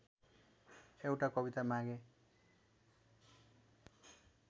एउटा कविता मागेँ